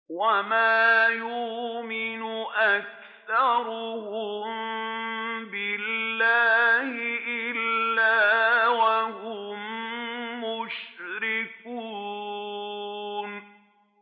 وَمَا يُؤْمِنُ أَكْثَرُهُم بِاللَّهِ إِلَّا وَهُم مُّشْرِكُونَ